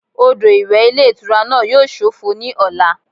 Odò ìwẹ̀ ilé ìtura náà yíò sófo ní ọ̀la